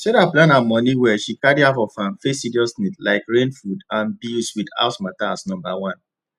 sarah plan her money well she carry half of am face serious needs like rent food and bills with house matter as number one